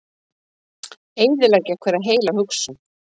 Eyðileggja hverja heila hugsun.